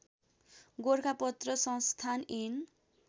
गोरखापत्र संस्थान ऐन